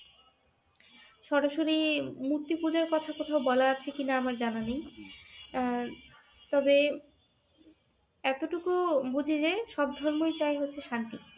সরাসরি মূর্তি পূজার কথা কোথাও বলা আছে কিনা আমার জানা নেই, আহ তবে এতটুক বুঝি যে সব ধর্মই চায় হচ্ছে শান্তি।